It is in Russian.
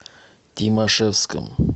тимашевском